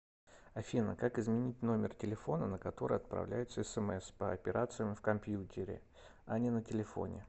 афина как изменить номер телефона на который отправляются смс по операциям в компьютере а не на телефоне